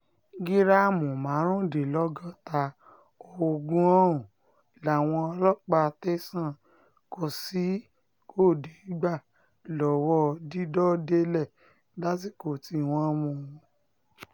gíráàmù márùndínlọ́gọ́ta oògùn ọ̀hún làwọn ọlọ́pàá tẹ̀sán kozhikode gbà lọ́wọ́ dídọ̀délẹ̀ lásìkò tí wọ́n mú un